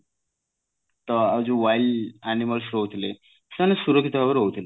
ତ ଆଉ ଯୋଉ wild animals ରହୁଥିଲେ ସେମାନେ ସୁରକ୍ଷିତ ଭାବରେ ରହୁଥିଲେ